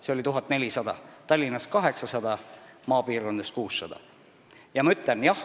See arv on 1400: Tallinnas 800 ja maapiirkondades 600.